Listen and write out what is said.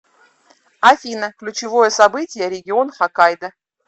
афина ключевое событие регион хоккайдо